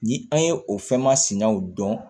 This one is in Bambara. Ni an ye o fɛn masinaw dɔn